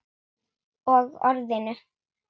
Og Orðinu.